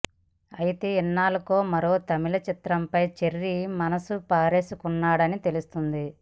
అయితే ఇన్నాళ్లకు మరో తమిళ చిత్రంపై చెర్రీ మనసు పారేసుకున్నాడని తెలుస్తోంది